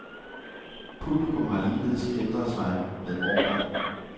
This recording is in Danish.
Publikum har ligeledes ændret sig med årene.